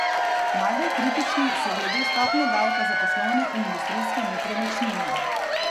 Najbolj kritični so glede stopnje davka za poslovne in industrijske nepremičnine.